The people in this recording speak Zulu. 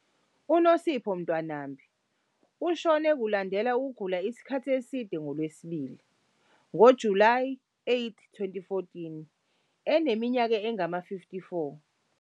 UNosipho Ntwanambi ushone kulandela ukugula isikhathi eside ngoLwesibili, ngoJulayi 8, 2014, eneminyaka engama-54.